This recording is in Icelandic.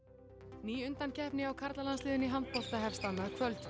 ný undankeppni hjá karlalandsliðinu í handbolta hefst annað kvöld